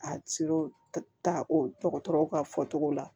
A ta o dɔgɔtɔrɔw ka fɔcogo la